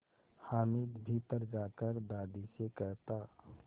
हामिद भीतर जाकर दादी से कहता